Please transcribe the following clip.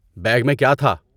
Bag میں کیا تھا؟